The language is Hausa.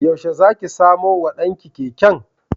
Yaushe za ki samo wa ɗan ki keken?